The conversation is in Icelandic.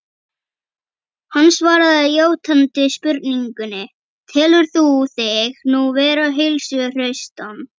Hann svaraði játandi spurningunni: Telur þú þig nú vera heilsuhraustan?